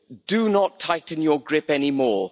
Do not tighten your grip anymore.